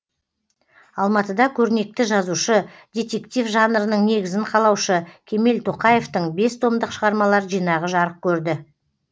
алматыда көрнекті жазушы детектив жанрының негізін қалаушы кемел тоқаевтың бес томдық шығармалар жинағы жарық көрді